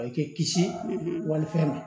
A k'i kisi walifɛn ma